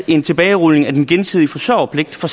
en tilbagerulning af den gensidige forsørgerpligt for